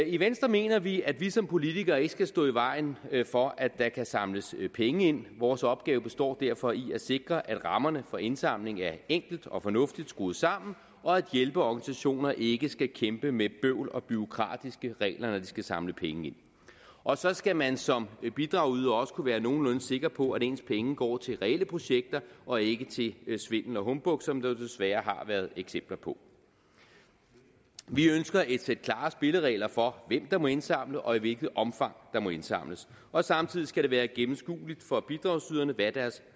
i venstre mener vi at vi som politikere ikke skal stå i vejen for at der kan samles penge ind vores opgave består derfor i at sikre at rammerne for indsamling er enkelt og fornuftigt skruet sammen og at hjælpeorganisationer ikke skal kæmpe med bøvl og bureaukratiske regler når de skal samle penge ind og så skal man som bidragyder også kunne være nogenlunde sikker på at ens penge går til reelle projekter og ikke til svindel og humbug som der jo desværre har været eksempler på vi ønsker et sæt klare spilleregler for hvem der må indsamle og i hvilket omfang der må indsamles og samtidig skal det være gennemskueligt for bidragsyderne hvad deres